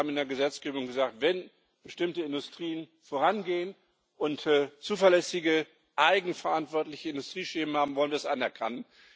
Wir haben in der Gesetzgebung gesagt, wenn bestimmte Industrien vorangehen und zuverlässige eigenverantwortliche Industrieschemen haben wollen, wird das anerkannt.